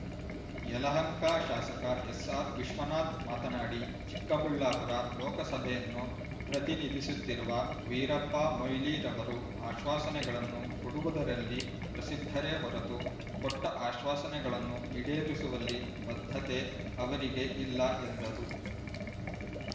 ಯಲಹಂಕ ಶಾಸಕ ಎಸ್ಆರ್ ವಿಶ್ವನಾಥ್ ಮಾತನಾಡಿ ಚಿಕ್ಕಬಳ್ಳಾಪುರ ಲೋಕಸಭೆಯನ್ನು ಪ್ರತಿನಿಧಿಸುತ್ತಿರುವ ವೀರಪ್ಪ ಮೊಯ್ಲಿರವರು ಆಶ್ವಾಸನೆಗಳನ್ನು ಕೊಡುವುದರಲ್ಲಿ ಪ್ರಸಿದ್ಧರೇ ಹೊರತು ಕೊಟ್ಟ ಆಶ್ವಾಸನೆಗಳನ್ನು ಈಡೇರಿಸುವಲ್ಲಿ ಬದ್ಧತೆ ಅವರಿಗೆ ಇಲ್ಲಾ ಎಂದರು